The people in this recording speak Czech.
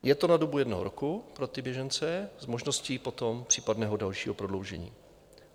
Je to na dobu jednoho roku pro ty běžence s možností potom případného dalšího prodloužení.